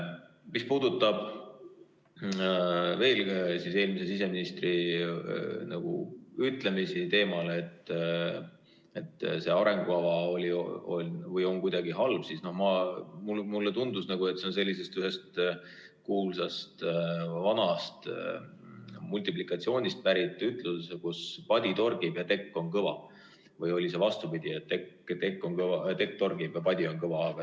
Mis puudutab veel eelmise siseministri ütlemisi teemal, et see arengukava on kuidagi halb, siis mulle tundus, et see on pärit ühest kuulsast vanast multiplikatsioonist, kus kurdeti, et padi torgib ja tekk on kõva, või oli see vastupidi, tekk torgib ja padi on kõva.